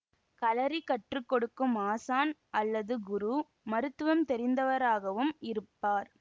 களரி கற்று கொடுக்கும் ஆசான் அல்லது குரு மருத்துவம் தெரிந்தவராகவும் இருப்பார்